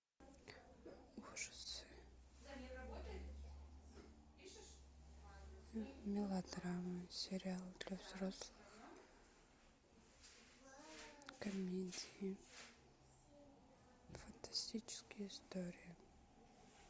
ужасы мелодрамы сериалы для взрослых комедии фантастические истории